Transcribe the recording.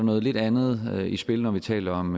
noget lidt andet i spil når vi taler om